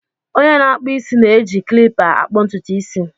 Onye na-akpụ isi na-eji klipa akpụ ntutu isi.